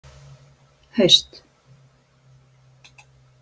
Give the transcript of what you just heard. haust